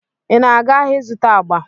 Ị na-aga ahịa ịzụta agba?